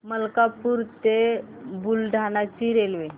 मलकापूर ते बुलढाणा ची रेल्वे